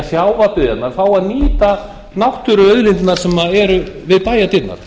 sjávarbyggðirnar fái að nýta náttúruauðlindirnar sem eru við bæjardyrnar